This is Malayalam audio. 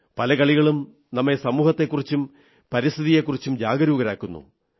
പല കളികളും നമ്മെ സമൂഹത്തെക്കുറിച്ചും പരിസ്ഥിതിയെക്കുറിച്ചും ജാഗരൂകരാക്കുന്നു